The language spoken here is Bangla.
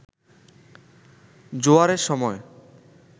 জোয়ারের সময়